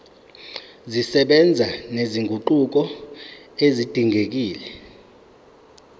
zisebenza nezinguquko ezidingekile